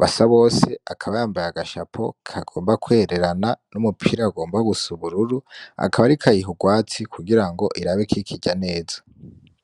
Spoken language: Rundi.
Basabose akaba yambaye agashapo kagomba kwererana n'umupira ugomba gusa ubururu akaba ariko ayiha urwatsi kugirango arabe kwikirya neza.